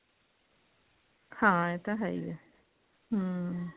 ਹਾਂ ਇਹ ਤਾਂ ਹੈ ਈ ਹੈ ਹਮ